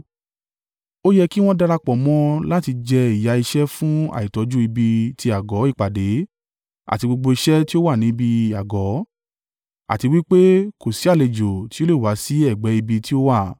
Ó yẹ kí wọ́n darapọ̀ mọ́ ọ láti jẹ ìyà iṣẹ́ fún àìtọ́jú ibi ti àgọ́ ìpàdé àti gbogbo iṣẹ́ tí ó wà ní ibi àgọ́, àti wí pé kò sí àlejò tí ó le wá sí ẹ̀gbẹ́ ibi tí o wà.